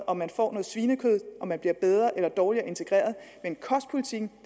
om man får svinekød der om man bliver bedre eller dårligere integreret men kostpolitikken